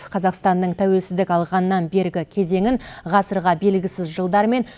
қазақстанның тәуелсіздік алғаннан бергі кезеңін ғасырға бергісіз жылдар мен